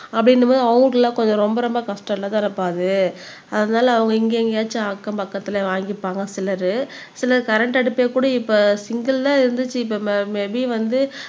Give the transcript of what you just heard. அப்படின்றபோது கொஞ்சம் ரொம்ப ரொம்ப கஷ்டம் இல்லதானப்பா அது அதனால அவங்க இங்க எங்கேயாச்சும் அக்கம் பக்கத்துல வாங்கிப்பாங்க சிலரு சிலர் கரண்ட் அடுப்பே கூட இப்ப தான் இருந்துச்சு இப்ப ம மேபீ வந்து